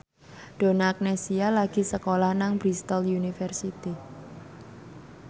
Donna Agnesia lagi sekolah nang Bristol university